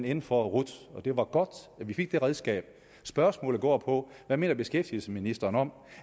inde for rut det var godt at vi fik det redskab spørgsmålet går på hvad mener beskæftigelsesministeren om